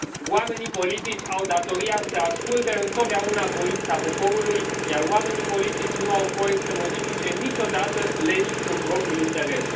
Oamenii politici au datoria să asculte întotdeauna voința poporului, iar oamenii politici nu au voie să modifice niciodată legi în propriul interes.